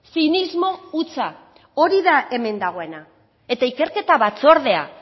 zinismo hutsa hori da hemen dagoena eta ikerketa batzordea